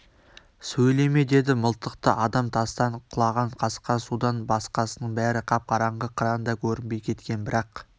сөйлеме деді мылтықты адам тастан құлаған қасқа судан басқасының бәрі қап-қараңғы қыран да көрінбей кеткен бірақ